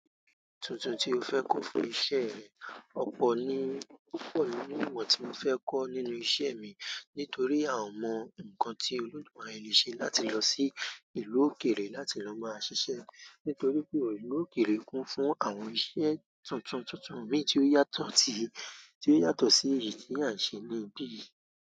Tuntun tí ó fẹ́ kọ fún iṣẹ́ rẹ. Ọ̀pọ̀ ni, ọ̀pọ̀ ni ìwọ̀n tí mo fẹ́ kọ́ nínú iṣẹ́ mi. Nítorí a mọ nǹkan tí olodumáre le ṣe láti lọ sí ìlú òkèèrè láti lọ máa ṣiṣẹ́. Nítorí pé ìlú òkèèrè kún fún àwọn iṣẹ́ tuntun tuntun mi tí ó yàtọ̀ tí, tí ó yàtọ̀ sí èyí tí à ń ṣe níbí yìí.